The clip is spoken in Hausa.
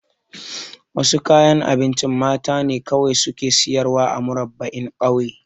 Wasu kayan abinci mata ne kawai suke sayarwa a Murabba'in ƙauye